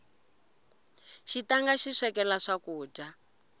xitanga xi swekela swakudya